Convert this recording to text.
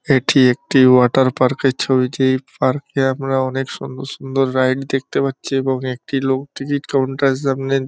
এটি একটি water park -এর ছবি যেই পার্কে আমরা অনেক সুন্দর সুন্দর রাইড দেখতে পাচ্ছি। এবং একটি লোক টিকিট কাউন্টার -এর সামনে--